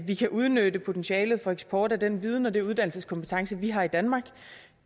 vi kan udnytte potentialet for eksport af den viden og de uddannelseskompetencer vi har i danmark